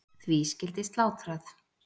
Því skyldi slátrað.